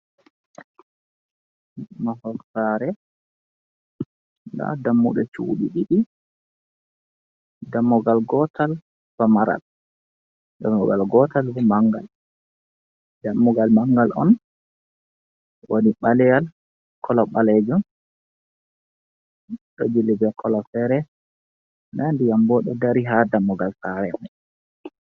Mahol saare, nda dammuɗe cuuɗi ɗiɗi, dammugal gootal famaral, dammugal gootal manngal, dammugal mangal on woni ɓaleewal kolo ɓaleejum, ɗo jilli bekolo feere, nda ndiyam bo ɗo dari haa dammugal saare may.